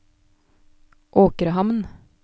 Åkrehamn